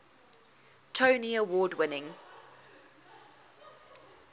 tony award winning